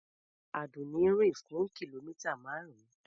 Àdùnní rìn fún kìlómità márùn-ún.